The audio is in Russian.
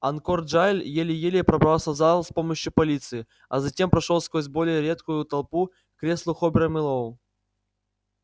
анкор джаэль еле-еле пробрался в зал с помощью полиции а затем прошёл сквозь более редкую толпу к креслу хобера мэллоу